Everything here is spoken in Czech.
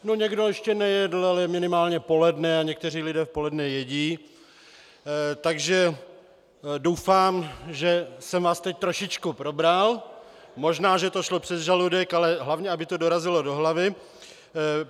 No někdo ještě nejedl, ale je minimálně poledne a někteří lidé v poledne jedí, takže doufám, že jsem vás teď trošičku probral, možná že to šlo přes žaludek, ale hlavně, aby to dorazilo do hlavy.